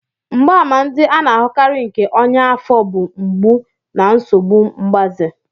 Mgbaàmà ndị a na-ahụkarị nke ọnya afo bụ mgbu na nsogbu mgbaze.